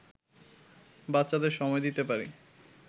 বাচ্চাদের সময় দিতে পারি